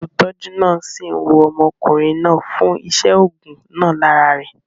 Olùtọ́jú náà sì ń wo ọmọkùnrin náà fún iṣé ògùn náà lára rẹ̀